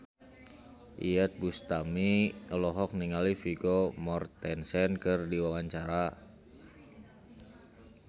Iyeth Bustami olohok ningali Vigo Mortensen keur diwawancara